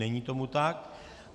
Není tomu tak.